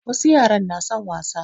Wasu yaran na son wasa.